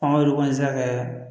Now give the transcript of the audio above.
An ka olu kɔni sera ka kɛ